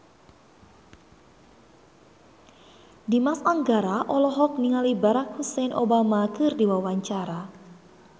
Dimas Anggara olohok ningali Barack Hussein Obama keur diwawancara